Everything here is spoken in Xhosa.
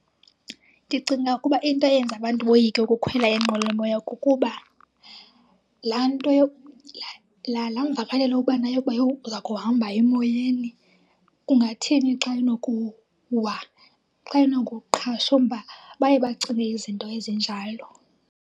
Ndicinga ukuba into eyenza abantu boyike ukukhwela inqwelomoya kukuba laa nto , laa, laa mvakalelo ubanayo yokuba yho uza kuhamba emoyeni. Kungathini xa inokuwa, xa inokuqhashumba? Baye bacinge izinto ezinjalo.